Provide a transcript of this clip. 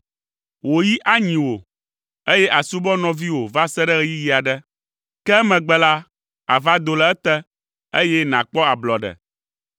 Wò yi anyi wò eye àsubɔ nɔviwò va se ɖe ɣeyiɣi aɖe, ke emegbe la, àva do le ete, eye nàkpɔ ablɔɖe.”